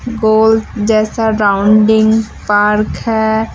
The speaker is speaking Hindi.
गोल जैसा राउंडिंग पार्क है।